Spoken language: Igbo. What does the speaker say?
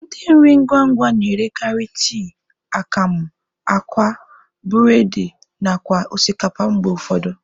Ndị nri ngwa ngwa na-erekarị tii, akamụ, akwa, bụredị nakwa osikapa mgbe ụfọdụ.